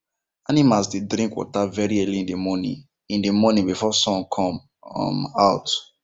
animals dey drink water very early in the morning in the morning before sun come um out